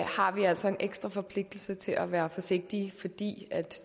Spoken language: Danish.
vi altså en ekstra forpligtelse til at være forsigtige fordi